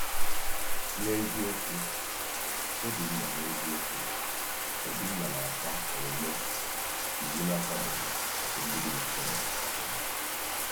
N’eziokwu, Obinna N’eziokwu, Obinna na-akwa “omume iwu na-akwadoghị” nke ndị bi na Sodọm emo.